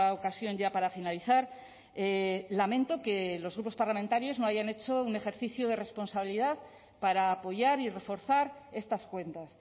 ocasión ya para finalizar lamento que los grupos parlamentarios no hayan hecho un ejercicio de responsabilidad para apoyar y reforzar estas cuentas